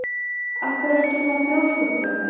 Af hverju ertu svona þrjóskur, Draumey?